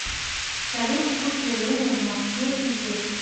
салют текущее время в моске и здесь